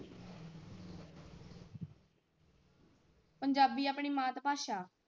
ਪੰਜਾਬੀ ਆਪਣੀ ਮਾਤਾ ਭਾਸ਼ਾ।